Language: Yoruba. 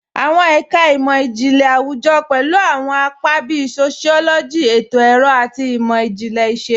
Awọn ẹka imọ-jinlẹ awujọ pẹlu awọn apa bíì sociology, ètò-ọrọ, àti imọ-jinlẹ iṣẹ̀lu.